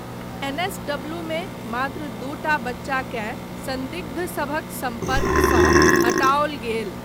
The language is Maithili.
एनएसडब्लूमे मात्र दूटा बच्चाकेँ सन्दिग्धसभक सम्पर्कसँ हटाओल गेल।